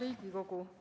Hea Riigikogu!